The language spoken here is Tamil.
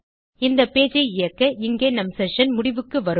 இந்த பேஜ் ஐ இயக்க இங்கே நம் செஷன் முடிவுக்கு வரும்